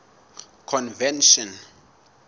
convention